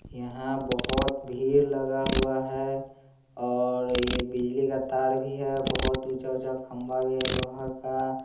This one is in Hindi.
यहाँ बहुत भीड़ लगा हुआ है और ये बिजली का तार भी है बहुत ऊंचा ऊंचा खंबा भी है। लोहा का--